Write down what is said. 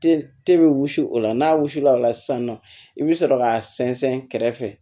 Te be wusu o la n'a wusula ola sisan nɔ i bi sɔrɔ k'a sɛnsɛn kɛrɛfɛ